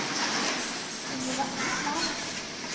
Sunniva Opsahl